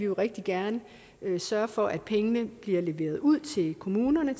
rigtig gerne sørge for at pengene bliver leveret ud til kommunerne